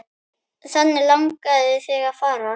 Þangað langaði þig að fara.